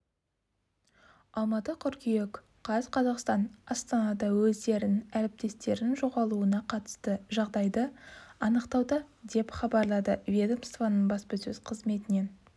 алматы қыркүйек қаз қазақстан астанада өздерінің әріптестерінің жоғалуына қатысты жағдайды анықтауда деп хабарлады ведомствоның баспасөз қызметінен